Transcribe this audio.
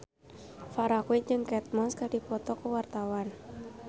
Farah Quinn jeung Kate Moss keur dipoto ku wartawan